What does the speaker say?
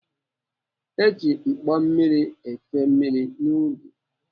Eji mkpo mmiri efe mmiri n'ubi.